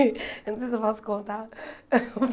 Eu não sei se eu posso contar.